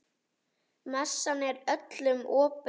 Messan er öllum opin.